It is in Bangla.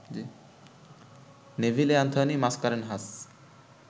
Neville Anthony Mascarenhas